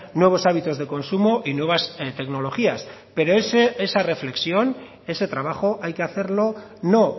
nuevos hábitos de consumo y nuevas tecnologías pero esa reflexión ese trabajo hay que hacerlo no